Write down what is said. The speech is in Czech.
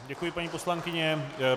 Děkuji, paní poslankyně.